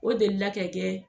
O deli la ka kɛ